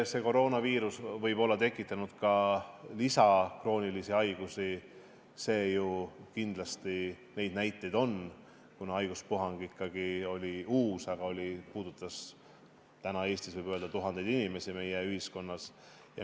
Koroonaviirus võib olla tekitanud ka lisaks kroonilisi haigusi, kindlasti neid näiteid on, kuna haiguspuhang oli ikkagi uus, aga puudutas Eestis, meie ühiskonnas tuhandeid inimesi.